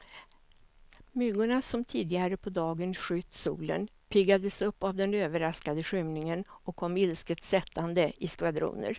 Myggorna som tidigare på dagen skytt solen, piggades upp av den överraskande skymningen och kom ilsket sättande i skvadroner.